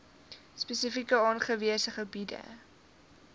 spesifiek aangewese gebiede